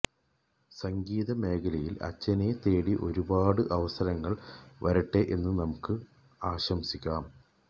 സംഗീതമേഖലയില് അച്ചനെ തേടി ഒരുപാട് അവസരങ്ങള് വരട്ടെ എന്ന് നമുക്ക് ആശംസിക്കാം